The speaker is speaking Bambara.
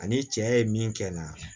Ani cɛ ye min kɛ n na